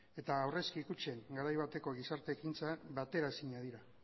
eta aurrezki kutxen garai bateko gizarte ekintza bateraezinak dira